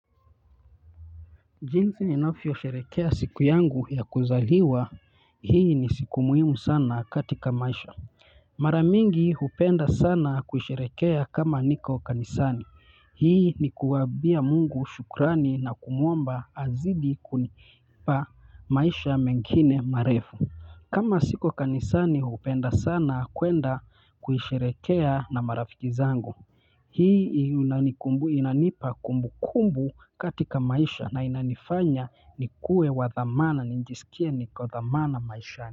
Jinzi ninavyosherehekea siku yangu ya kuzaliwa, hii ni siku muhimu sana katika maisha. Mara mingi hupenda sana kuisherehekea kama niko kanisani hii nikumwambia mungu shukrani na kumuomba azidi kunipa maisha mengine marefu. Kama siko kanisani hupenda sana kuenda kuisherehekea na marafiki zangu. Hii inanipa kumbukumbu katika maisha na inanifanya nikue wa dhamana nijisikie niko dhamana maisha.